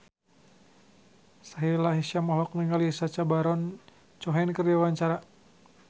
Sahila Hisyam olohok ningali Sacha Baron Cohen keur diwawancara